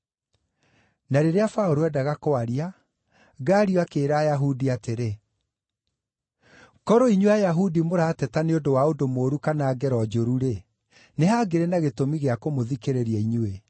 Na rĩrĩa Paũlũ endaga kwaria, Galio akĩĩra Ayahudi atĩrĩ, “Korwo inyuĩ Ayahudi mũrateta nĩ ũndũ wa ũndũ mũũru kana ngero njũru-rĩ, nĩ hangĩrĩ na gĩtũmi gĩa kũmũthikĩrĩria inyuĩ.